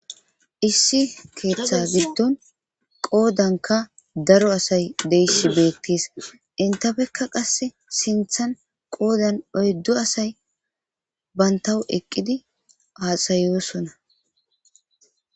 Issi keeththa giddon qoodanka daro asay deyisshi beettes intafekka qass sinthan qoodan oyddu asay bantawu eqqidi aasayosona